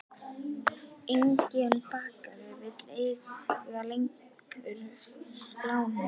Enginn banki vill lengur lána honum.